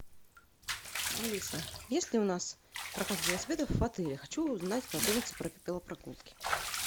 алиса есть ли у нас прокат велосипедов в отеле хочу узнать подробности про велопрогулки